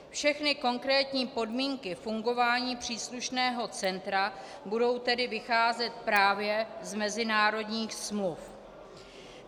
Všechny konkrétní podmínky fungování příslušného centra budou tedy vycházet právě z mezinárodních smluv.